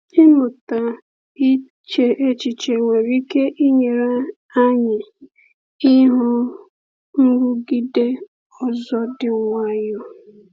Ịmụta iche echiche nwere ike inyere anyị ihu nrụgide ọzọ dị nwayọ.